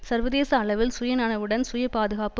சர்வதேச அளவில் சுய நனவுடன் சுய பாதுகாப்பு